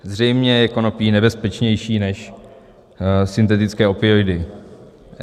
Zřejmě je konopí nebezpečnější než syntetické opioidy.